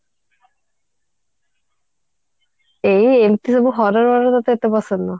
ଏଇ ଏମିତି ସବୁ horror movie ତତେ ପସନ୍ଦ ନୁହଁ